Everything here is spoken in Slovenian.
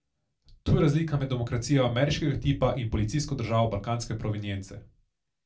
Tu je razlika med demokracijo ameriškega tipa in policijsko državo balkanske provenience.